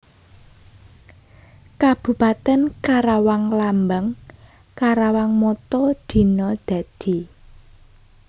Kabupatèn KarawangLambang KarawangMotto Dina Dadi